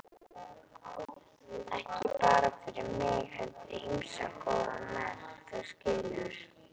Ekki bara fyrir mig heldur ýmsa góða menn, þú skilur.